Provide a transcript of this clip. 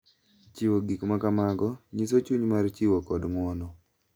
Chiwo gik ma kamago nyiso chuny mar chiwo kod ng’wono,